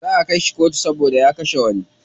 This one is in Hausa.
Za'a kai shi kotu saboda ya kashe wani.